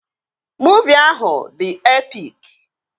Muuvi ahụ dị epik